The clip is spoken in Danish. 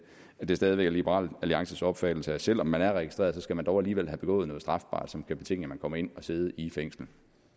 det stadig væk er liberal alliances opfattelse at selv om man er registreret skal man dog alligevel have begået noget strafbart som kan betinge at man kommer ind at sidde i fængslet